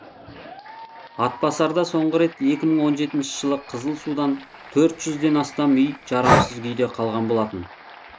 атбасарда соңғы рет екі мың он жетінші жылы қызыл судан төрт жүзден астам үй жарамсыз күйде қалған болатын